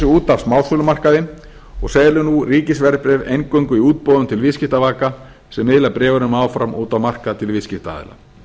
út af smásölumarkaði og selur nú ríkisverðbréf eingöngu í útboðum til viðskiptavaka sem miðla bréfunum áfram út á markað til viðskiptaaðila